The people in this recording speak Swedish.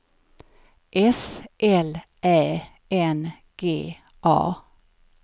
S L Ä N G A